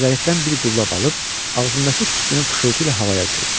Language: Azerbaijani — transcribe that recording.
Siqaretdən bir qulla bab alıb, ağzındakı tüstünü fışıltı ilə havaya buraxdı.